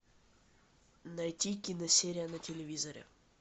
найти киносерия на телевизоре